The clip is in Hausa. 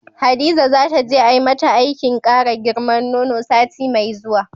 Hadiza zata je ai mata aikin kara girman nono sati mai zuwa.